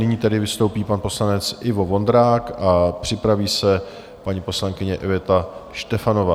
Nyní tedy vystoupí pan poslanec Ivo Vondrák a připraví se paní poslankyně Iveta Štefanová.